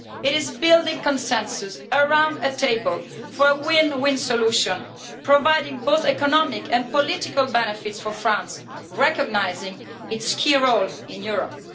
It is building consensus around a table for a win win solution, providing both economic and political benefits for France, recognising its key role in Europe.